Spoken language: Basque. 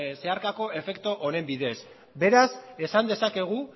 zeharkako efektu honen bidez beraz esan dezakegu